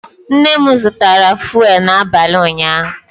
Nne m zụtara fụ́élú n'abalị ụnyaahụ